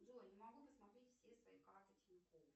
джой не могу посмотреть все свои карты тинькофф